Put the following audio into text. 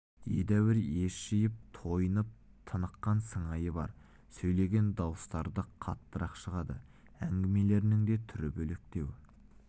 едәуір ес жиып тойынып тыныққан сыңайы бар сөйлеген дауыстары да қаттырақ шығады әңгімелерінің де түрі бөлектеу